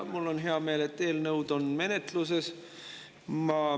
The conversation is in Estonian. Mul on hea meel, et need eelnõud on menetluses.